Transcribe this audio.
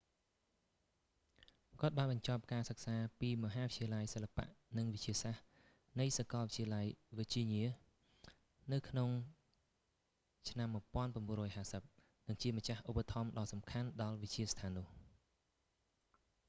គាត់បានបញ្ចប់ការសិក្សាពីមហាវិទ្យាល័យសិល្បៈនិងវិទ្យាសាស្រ្តនៃសាកលវិទ្យា វើជីញ៉ា នៅក្នុងឆ្នាំ1950 និងជាម្ចាស់ឧបត្ថម្ភដ៏សំខាន់ដល់វិទ្យាស្ថាននោះ